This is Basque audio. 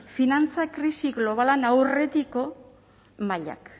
finantza krisi globalean aurretiko mailak